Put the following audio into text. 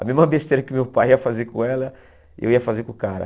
A mesma besteira que meu pai ia fazer com ela, eu ia fazer com o cara.